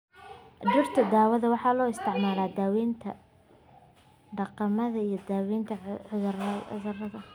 Dhirta daawada waxaa loo isticmaalaa daawaynta dhaqameed iyo daaweynta cudurada.